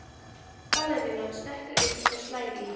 Ballerínan stekkur upp og slær í.